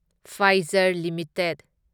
Pfizer limited